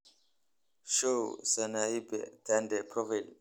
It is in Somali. show sanaipei tande's profile